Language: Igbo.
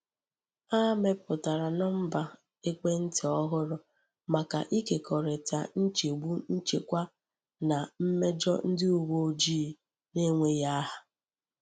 A meputara nọmba ekwentị ọhụrụ maka ịkekọrịta nchegbu nchekwa na mmejọ ndị uwe ojii n’enweghị aha.